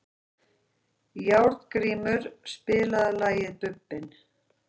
Járngrímur, spilaðu lagið „Bubbinn“.